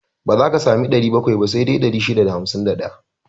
Ba za ka sami 700 ba, sai dai 651.